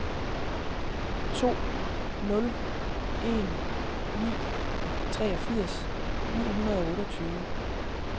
to nul en ni treogfirs ni hundrede og otteogtyve